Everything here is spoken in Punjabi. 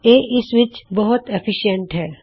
ਇਹ ਇਸ ਵਿੱਚ ਬਹੁਤ ਲਾਭਦਾਰ ਹੈ